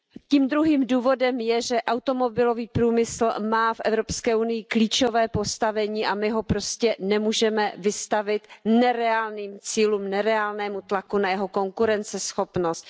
Tím druhým důvodem je, že automobilový průmysl má v Evropské unii klíčové postavení a my ho prostě nemůžeme vystavit nereálným cílům, nereálnému tlaku na jeho konkurenceschopnost.